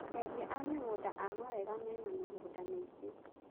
Endia a mĩgũnda a mawega mena mĩgũnda mĩingĩ.